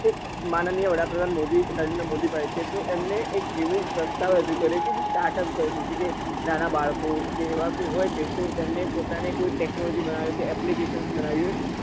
એક માનનીય વડાપ્રધાન મોદી નરેન્દ્ર મોદી સાહેબ એ તો એમને એક પ્રસ્તાવ રજુ કર્યું કે startup કર્યું કે નાના બાળકો કે એવા કોઈ હોય કે એમને પોતાની કોઈ technology બનાવી કે application બનાવી હોય